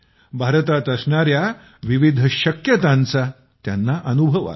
भारतात असणाऱ्या विविध शक्यतांचा त्यांना अनुभव आला